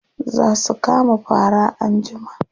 Za su kama fara anjima.